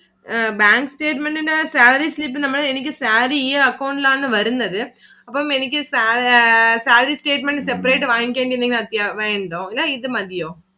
അഹ് bank statement ഇന്റെ salary slip നമക്ക് എനിക്ക് salary ഈ account ഇലാണ് വരുന്നത്. അപ്പം എനിക്ക് salary statement separate വാങ്ങിക്കേണ്ട എന്തെങ്കിലും ആവിശ്യം ഉണ്ടോ അതോ ഇത് മതിയോ